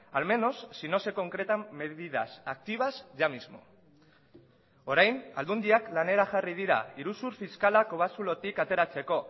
al menos si no se concretan medidas activas ya mismo orain aldundiak lanera jarri dira iruzur fiskala kobazulotik ateratzeko